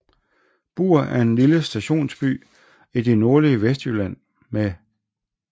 Bur er en lille stationsby i det nordlige Vestjylland med